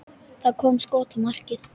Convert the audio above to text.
Það kom skot á markið.